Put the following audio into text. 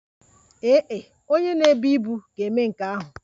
Ee e, onye na-ebu ibu ga-eme nke ahụ.